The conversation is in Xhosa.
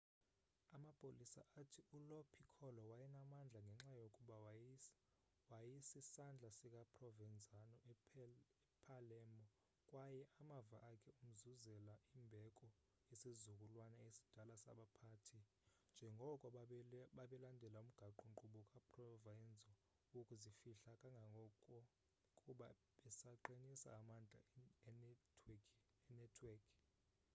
amapolisa athi ulo piccolo wayenamandla ngenxa yokuba waysisandla sika provenzano epalermo kwaye amava akhe amzuzela imbeko yesizukulwana esidala sabaphathi njengoko babelandela umgaqo-nkqubo kaprovenzano wokuzifihla kangangoko kuba besaqinisa amandla enetwekhi